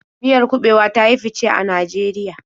Miyar kuɓewa ta yi fice a Najeriya.